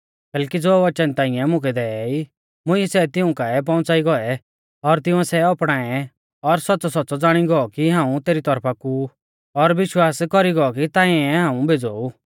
कैलैकि ज़ो वचन ताइंऐ मुकै देई मुंइऐ सै तिऊं काऐ पौउंच़ाई गौऐ और तिंउऐ सै अपणाऐ और सौच़्च़ौसौच़्च़ौ ज़ाणी गौ की हाऊं तेरी तौरफा कु ऊ और विश्वास कौरी गौ कि तांऐ ई हाऊं भेज़ौ ऊ